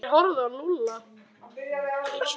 Þeir horfðu á Lúlla.